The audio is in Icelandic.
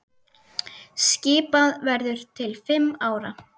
Skipað verður til fimm ára.